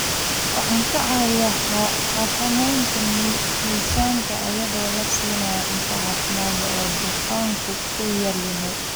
Waxay ka caawisaa xakamaynta miisaanka iyadoo la siinayo cunto caafimaad leh oo dufanku ku yar yahay.